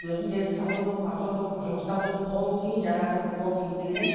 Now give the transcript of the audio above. өзім директор совхоза болдым парторг болдым жұмыста болдым қолым тимейді жаңағы қыздың қолым тимейді дегеннен